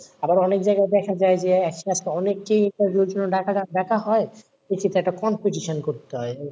আবার অনেক জায়গায় দেখা যায় যে একসাথে অনেককে interview এর জন্য ডাকা হয় তো সেখানে একটা competition করতে হয়,